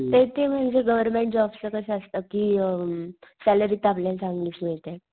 ते ती म्हणजे गव्हर्मेंट जॉबच कस असत कि अ सॅलरी तर आपल्याला चांगलीच मिळते.